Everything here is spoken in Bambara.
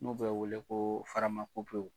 N'o bɛ wele ko faramakopew.